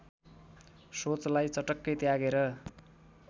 सोचलाई चटक्कै त्यागेर